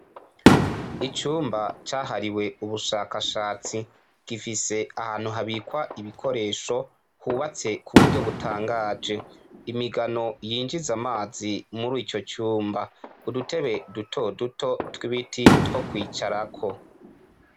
Icumba cahariwe ubushakashatsi gifise ahantu habikwa ibikoresho hubatse ku buryo butangaje imigano yinjize amazi muri ico cumba udutebe duto duto tw'ibiti two kwicarako.